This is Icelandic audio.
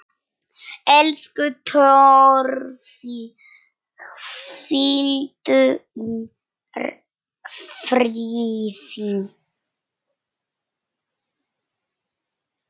Elsku Torfi, hvíldu í friði.